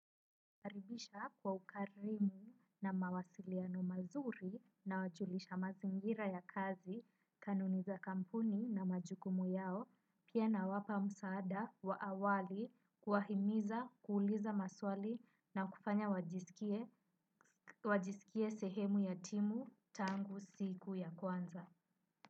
Nawa karibisha kwa ukarimu na mawasiliano mazuri na wajulisha mazingira ya kazi, kanuni za kampuni na majukumu yao, pia nawapa msaada wa awali kuwahimiza, kuuliza maswali na kufanya wajiskie wajisikie sehemu ya timu tangu siku ya kwanza.